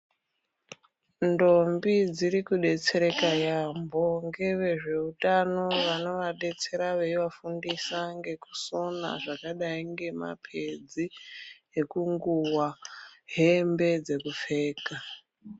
Ndombi dziriku detsereka yambo ngeve zveutano vanova detsera vei vafundisa ngeku sona zvakadai nge mapedzi eku nguwa hembe dze kupfeka.